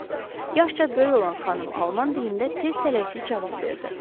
Yaşca böyük olan xanım alman dilində tez-tələsik cavab verdi.